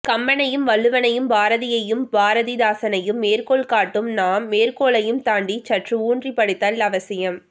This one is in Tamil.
கம்பனையும் வள்ளுவனையும் பாரதியையும் பாரதி தாசனையும் மேற்கோள் காட்டும் நாம் மேற்கோளையும் தாண்டி சற்று ஊன்றி படித்தல் அவசியம்